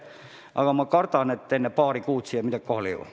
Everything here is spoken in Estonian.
Aga ma kardan, et enne paari kuud siia midagi kohale ei jõua.